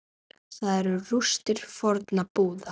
Þar eru rústir fornra búða.